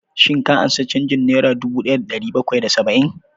Shin ka ansa canjin nera dubu ɗaya da ɗari bakwai da saba'in?